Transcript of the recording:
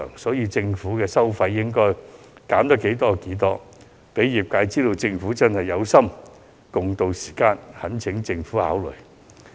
因此，政府收費應該盡量寬減，好讓業界知道政府真的有心共渡時艱，我懇請政府考慮。